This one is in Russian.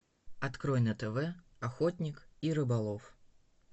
открой на тв охотник и рыболов